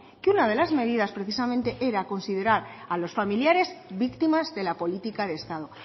que una de las medidas precisamente era considerar a los familiares víctimas de la política de estado